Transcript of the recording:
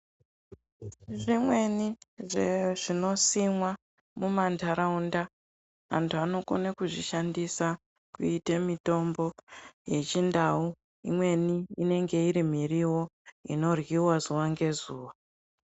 Zvimweni zvezvinosimwa mumandaraunda, antu anokone kuzvishandisa kuite mitombo yechindau imweni inenge iri miriwo inoryiwa zuwa ngezuwa.